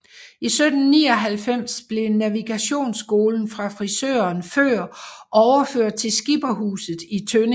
I 1799 blev navigationsskolen fra friserøen Før overført til Skipperhuset i Tønning